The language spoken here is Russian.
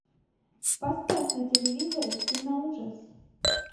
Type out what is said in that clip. поставь на телевизоре кино ужас